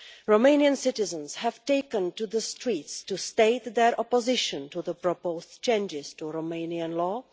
Romanian citizens have taken to the streets to state their opposition to the proposed changes to Romanian law.